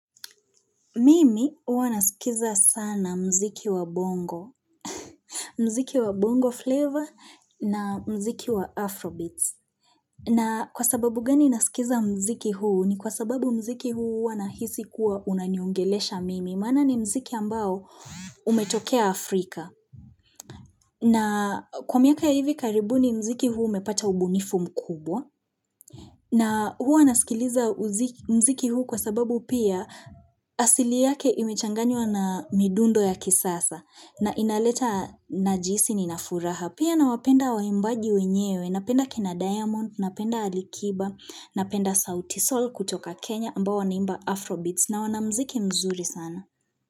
Mimi huwa nasikiza sana muziki wa bongo, muziki wa bongo flavor na muziki wa afrobeats. Na kwa sababu gani nasikiza muziki huu ni kwa sababu muziki huu hua nahisi kuwa unaniongelesha mimi. Maana ni muziki ambao umetokea Afrika. Na kwa miaka ya hivi karibu ni muziki huu umepata ubunifu mkubwa. Na huwa nasikiliza muziki huu kwa sababu pia asili yake imechanganywa na midundo ya kisasa na inaleta na jinsi ninafuraha. Pia na wapenda waimbaji wenyewe, napenda akina Diamond, napenda Alikiba, napenda sauti Sol kutoka Kenya ambao wanaimba Afrobeats na wanamziki mzuri sana.